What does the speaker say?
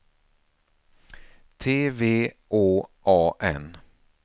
T V Å A N